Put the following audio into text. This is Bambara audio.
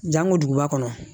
Janko duguba kɔnɔ